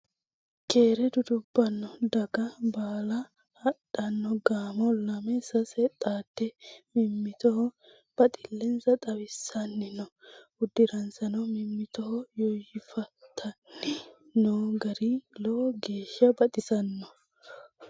Keere dudubbanni daga baalla hadhano gaamo lame sase xaade mimmittoho baxilensa xawisani no udiransano mimmitto yoyifattani no garino lowo geeshsha baxisanoho.